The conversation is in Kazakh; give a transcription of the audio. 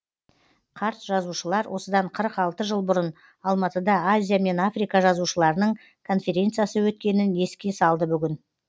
қарт жазушылар осыдан қырық алты жыл бұрын алматыда азия мен африка жазушыларының конференциясы өткенін еске салды бүгін